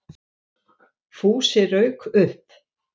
Fúsi rauk upp.